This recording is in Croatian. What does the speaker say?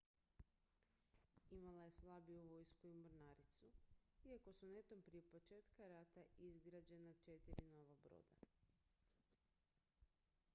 imala je slabiju vojsku i mornaricu iako su netom prije početka rata izgrađena četiri nova broda